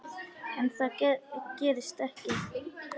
En það gerist ekki.